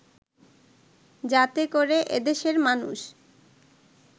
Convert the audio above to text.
যাতে করে এদেশের মানুষ